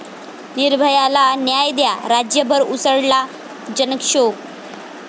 निर्भया'ला न्याय द्या, राज्यभर उसळला जनक्षोभ